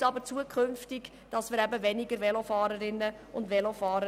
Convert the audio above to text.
Wir haben auch gehört, dass alle Mitglieder der SVP-Fraktion Velo fahren.